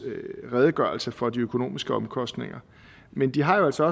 redegørelse for de økonomiske omkostninger men de har jo altså